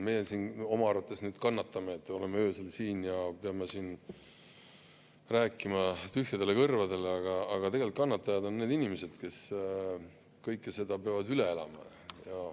Meie siin oma arvates nüüd kannatame, kui me oleme öösel siin ja peame rääkima tühjale kõrvadele, aga tegelikult kannatajad on need inimesed, kes peavad selle kõik üle elama.